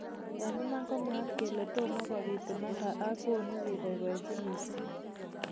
Eng iman komwaat kele tomo kobit imanda ak konu kebaibachi missing.